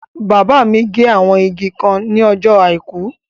Bàbá mi gé àwọn igi kan ní ọjọ́ àìkú